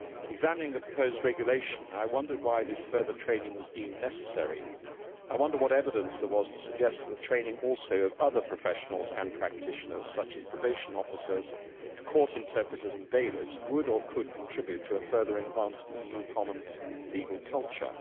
Examining the proposed regulation, I wondered why this further training was deemed necessary, and I wondered what evidence there was to suggest that the training of other professionals and practitioners, such as probation officers, court interpreters and bailiffs, would or could contribute to a further enhanced EU common legal culture.